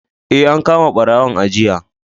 Eh, an kama ɓarawon a jiya.